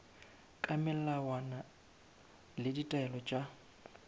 ka melawana le ditaelo tša